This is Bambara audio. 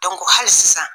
hali sisan